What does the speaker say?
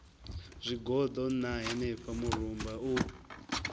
zwigoḓo ṋna henefha murumba u